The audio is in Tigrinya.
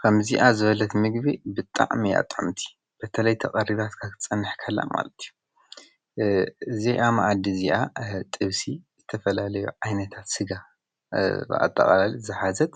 ኸምዚኣ ዘበለት ምግቢ ብጣዕሚ አያ ጥእምቲ በተለይ ተቐሪባት ካኽጸንሕ ከላእ ማለት እዩ ዘይኣማእዲ እዚኣ ጥውሲ ዝተፈላለዮ ኣይነታት ሥጋ ኣጥቓላሊ ዝኃዘት